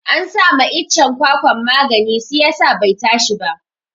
An sama iccen kwakwan magani siyasa bai tashi ba